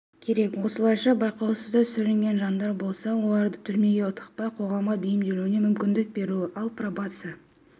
керек осылайша байқаусызда сүрінген жандар болса оларды түрмеге тықпай қоғамға бейімделуіне мүмкіндік беру ал пробация